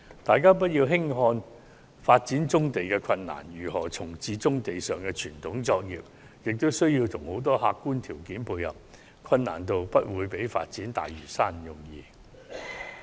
大家不要輕視發展棕地的困難，如何重置棕地上的傳統作業，亦需要很多客觀條件的配合，其難度不會低於發展大嶼山。